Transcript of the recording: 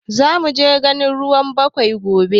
Zamuje ganin ruwan ɓawai gobe